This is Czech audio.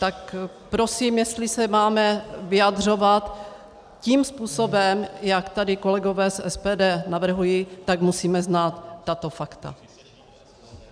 Tak prosím, jestli se máme vyjadřovat tím způsobem, jak tady kolegové z SPD navrhují, tak musíme znát tato fakta.